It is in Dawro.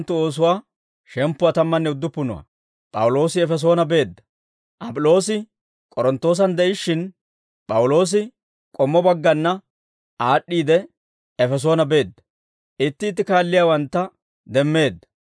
Ap'iloosi K'oronttoosan de'ishshin, P'awuloosi k'ommo baggana aad'd'iide, Efesoone beedda; itti itti kaalliyaawantta demmeedda.